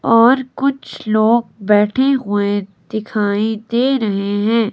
और कुछ लोग बैठे हुए दिखाई दे रहे हैं।